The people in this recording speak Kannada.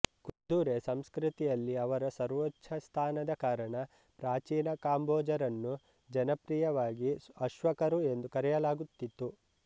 ಕುದುರೆ ಸಂಸ್ಕೃತಿಯಲ್ಲಿ ಅವರ ಸರ್ವೋಚ್ಚ ಸ್ಥಾನದ ಕಾರಣ ಪ್ರಾಚೀನ ಕಾಂಬೋಜರನ್ನು ಜನಪ್ರಿಯವಾಗಿ ಅಶ್ವಕರು ಎಂದು ಕರೆಯಲಾಗುತ್ತಿತ್ತು